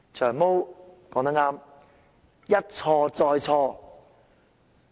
"長毛"說得對："一錯再錯"。